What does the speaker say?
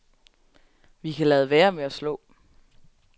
Vi kan lade være med at slå.